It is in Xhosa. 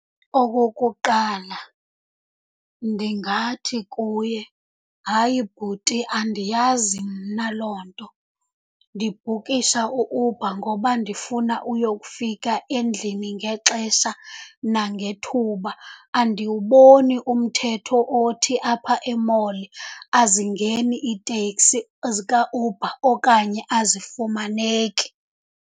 Okokuqala, ndingathi kuye, hayi bhuti, andiyazi mna loo nto. Ndibhukisha u-Uber ngoba ndifuna uyokufika endlini ngexesha nangethuba. Andiwuboni umthetho othi apha e-mall azingeni iiteksi ezikaUber okanye azifumaneki.